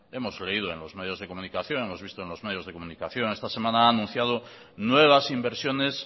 hemos leído en los medios de comunicación hemos visto en los medios de comunicación esta semana ha anunciado nuevas inversiones